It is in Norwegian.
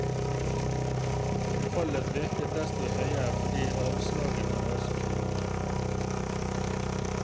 Fallet virket desto høyere fordi anslagene var så fine.